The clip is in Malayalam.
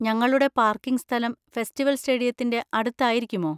ഞങ്ങളുടെ പാർക്കിംഗ് സ്ഥലം ഫെസ്റ്റിവൽ സ്റ്റേഡിയത്തിന്റെ അടുത്ത് ആയിരിക്കുമോ?